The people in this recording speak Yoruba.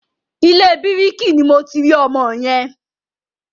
Ilé bíkìrì ni mo ti rí ọmọ yẹn.